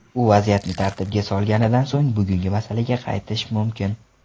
U vaziyatni tartibga solganidan so‘ng bugungi masalaga qaytish mumkin.